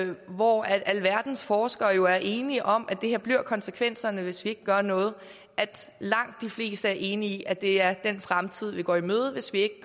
hvor alverdens forskere er enige om at det her bliver konsekvenserne hvis vi ikke gør noget at langt de fleste er enige i at det er den fremtid vi går i møde hvis ikke